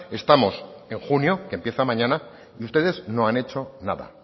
estamos en junio que empieza mañana y ustedes no han hecho nada